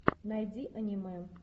найди аниме